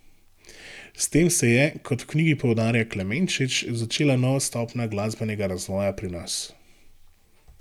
S tem se je, kot v knjigi poudarja Klemenčič, začela nova stopnja glasbenega razvoja pri nas.